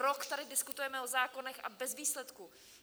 Rok tady diskutujeme o zákonech, a bez výsledku.